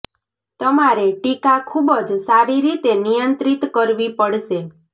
તમારે ટીકા ખૂબ જ સારી રીતે નિયંત્રિત કરવી પડશે